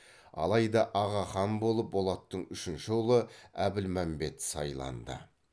алайда аға хан болып болаттың үшінші ұлы әбілмәмбет сайланды